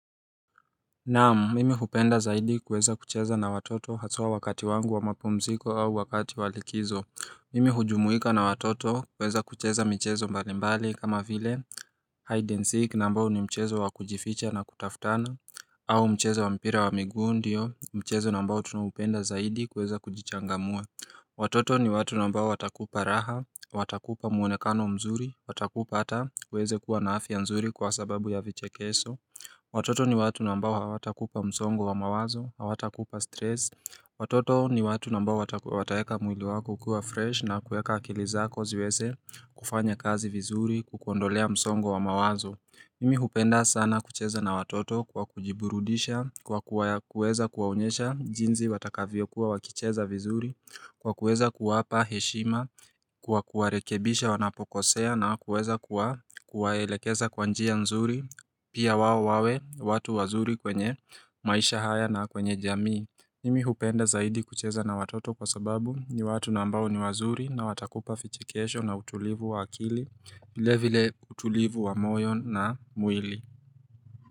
Naam, mimi hupenda zaidi kuweza kucheza na watoto haswa wakati wangu wa mapumziko au wakati wa likizo. Mimi hujumuika na watoto kuweza kucheza michezo mbalimbali kama vile Hide and seek ambayo ni mchezo wa kujificha na kutafutana. Au mchezo wa mpira wa miguu ndio, mchezo ambao tunaupenda zaidi kuweza kujichangamua. Watoto ni watu ambao watakupa raha, watakupa mwonekano mzuri, watakupa ata, uweze kuwa na afya mzuri kwa sababu ya vichekesho. Watoto ni watu ambao hawatakupa msongo wa mawazo, hawatakupa stress. Watoto ni watu ambao wataweka mwili wako kuwa fresh na kuweka akili zako ziweze kufanya kazi vizuri, kukuondolea msongo wa mawazo Mimi hupenda sana kucheza na watoto kwa kujiburudisha, kwa kuweza kuwaonyesha jinsi watakavyokuwa wakicheza vizuri, bKwa kuweza kuwapa heshima, kwa kuwarekebisha wanapokosea na kuweza kuwa kuwaelekeza kwa njia nzuri, Pia wao wawe, watu wazuri kwenye maisha haya na kwenye jamii. Mimi hupenda zaidi kucheza na watoto kwa sababu ni watu ambao ni wazuri na watakupa vichekesho na utulivu wa akili. Vilevile utulivu wa moyo na mwili.